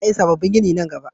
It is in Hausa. Za a yi sabobbin gini nan gaba